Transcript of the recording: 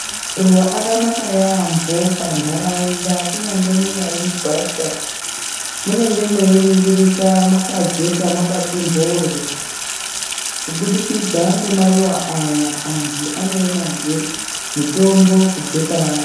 Maruva akanaka yambo pa ndaraunda kunyangwe munyari mugwasha munenge mwei ningirika mwaka jeka makati mboryo kubudikidza nge maruva aya antu ano onazve mutombo kubva paari.